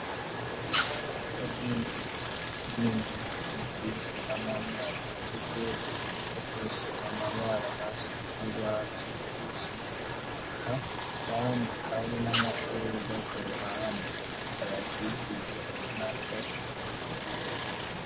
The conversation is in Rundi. Ubwinjiriro bw'inzu bufise amabara atukura, bufise amabara asa n'urwatsi rubisi, eka kandi hari n'amashurwe ku ruhande ayakikije ubonako asa neza.